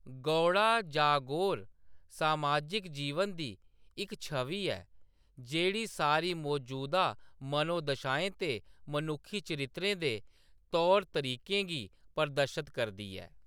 गौड़ा जागोर समाजिक जीवन दी इक छवि ऐ, जेह्‌‌ड़ी सारी मजूदा मनोदशाएं ते मनुक्खी चरित्रें दे तौर तरीकें गी प्रदर्शत करदी ऐ।